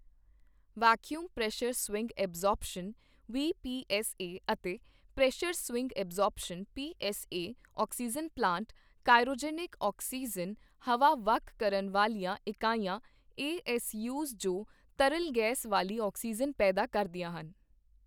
vacuum pressure swing absorption VPSA ਅਤੇ pressure swing absorption PSA oxygen plant, cryogenic oxygen ਹਵਾ ਵੱਖ ਕਰਨ ਵਾਲੀਆਂ ਇਕਾਈਆਂ ਏਐਸਯੂਜ ਜੋ ਤਰਲ ਗੈਸ ਵਾਲੀ ਆਕਸੀਜਨ ਪੈਦਾ ਕਰਦੀਆਂ ਹਨ